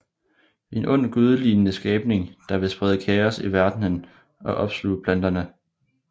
En ond gudelignende skabning der vil sprede kaos i verdenen og opsluge planeterne